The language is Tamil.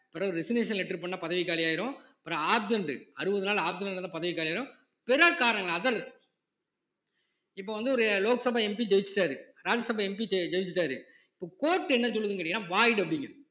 பிறகு resignation letter பண்ணா பதவி காலியாயிரும் பிறகு absent அறுபது நாள் absent இருந்தா பதவி காலியாயிரும் பிறர் காரணங்கள் other இப்ப வந்து ஒரு லோக் சபா MP ஜெயிச்சிட்டாரு ராஜ்ய சபா MP ஜெ~ ஜெயிச்சிட்டாரு இப்ப court என்ன சொல்லுதுங்கறீங்கன்னா void அப்பிடிங்குது